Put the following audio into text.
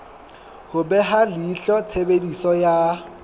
ho beha leihlo tshebediso ya